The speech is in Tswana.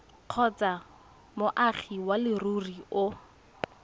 kgotsa moagi wa leruri o